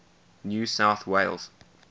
new south wales